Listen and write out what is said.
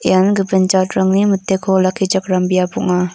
ian gipin jatrangni miteko olakkichakram biap ong·a.